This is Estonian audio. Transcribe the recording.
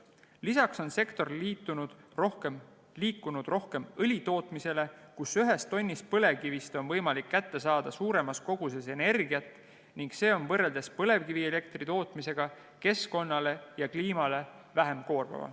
Lisaks on sektor liikunud rohkem õli tootmise poole, mille puhul on ühest tonnist põlevkivist võimalik kätte saada suuremas koguses energiat ning see on võrreldes põlevkivielektri tootmisega keskkonnale ja kliimale vähem koormav.